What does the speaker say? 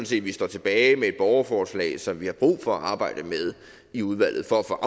set vi står tilbage med et borgerforslag som vi har brug for at arbejde med i udvalget for at få